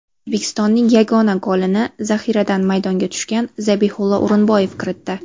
O‘zbekistonning yagona golini zaxiradan maydonga tushgan Zabihullo O‘rinboyev kiritdi.